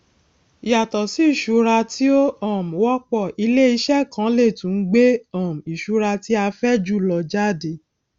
yàtọsí ìṣura tí ó um wọpọ iléiṣẹ kan lè tún gbé um ìṣura tí a fẹ jùlọ jáde